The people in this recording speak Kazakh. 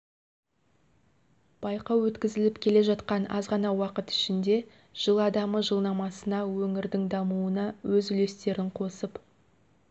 байқау өткізіліп келе жақан аз ғана уақыт ішінде жыл адамы жылнамасына өңірдің дамуына өз үлестерін қосып